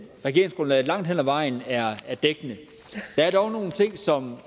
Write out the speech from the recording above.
regeringsgrundlaget langt hen ad vejen er dækkende der er dog nogle ting som